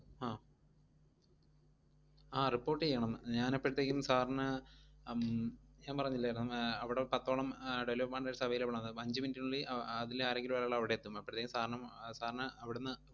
ആഹ് ആഹ് report ചെയ്യണം. ഞാൻ അപ്പഴത്തേക്കും sir ന് ഉം ഞാൻ പറഞ്ഞില്ലായിരുന്നോ ആഹ് അവിടൊരു പത്തോളം delivery partners available ആന്ന്, അപ്പ അഞ്ച് minute നുള്ളിൽ അഹ് അ~ അതിലെ ആരെങ്കിലും ഒരാൾ അവിടെ എത്തും, അപ്പോഴത്തേക്കും sir ഉം sir ന് അവിടുന്ന്